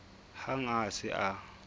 hang ha a se a